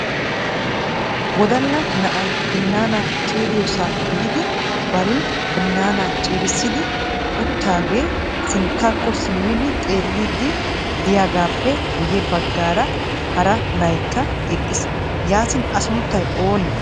wodala na'ay binaana ciirissiyoosa biidi bari binaana ciirissidi uttidaagee sinttaakko simmidi xeellidi de'iyaagappe guyye baggan hara na''aykka eqqiis. yaatin a suntta oonne?